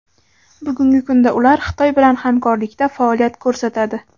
Bugungi kunda ular Xitoy bilan hamkorlikda faoliyat ko‘rsatadi.